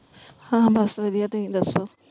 ਹਾਂ ਬਸ ਵਧੀਆ ਤੁਸੀਂ ਦੱਸੋ?